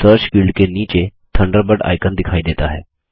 search field के नीचे Thunderbird icon दिखाई देता है